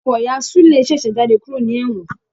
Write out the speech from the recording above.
Ọkọ ìyá Sule ṣèṣe jáde kúrò ní ewon